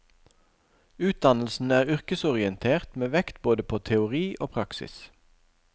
Utdannelsen er yrkesorientert med vekt både på teori og praksis.